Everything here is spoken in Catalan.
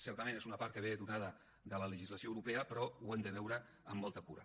certament és una part que ve donada per la legislació europea però ho hem de veure amb molta cura